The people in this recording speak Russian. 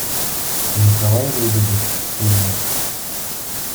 николай лебедев фильмы